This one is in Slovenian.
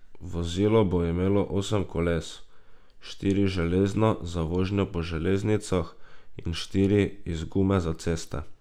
Vozilo bo imelo osem koles, štiri železna za vožnjo po železnicah in štiri iz gume za ceste.